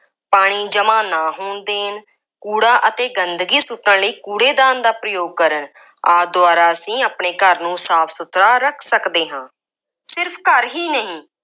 ਪਾਣੀ ਜਮ੍ਹਾ ਨਾ ਹੋਣ ਦੇਣ, ਕੂੜਾ ਅਤੇ ਗੰਦਗੀ ਸੁੱਟਣ ਲਈ ਕੂੜੇ ਦਾਨ ਦਾ ਪ੍ਰਯੋਗ ਕਰਨ, ਆਦਿ ਦੁਆਰਾ ਅਸੀਂ ਆਪਣੇ ਘਰ ਨੂੰ ਸਾਫ ਸੁਥਰਾ ਰੱਖ ਸਕਦੇ ਹਾਂ। ਸਿਰਫ ਘਰ ਹੀ ਨਹੀਂ